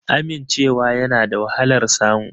Amincewa yana da wahalar samu